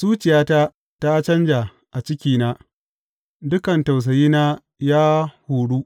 Zuciyata ta canja a cikina; dukan tausayina ya huru.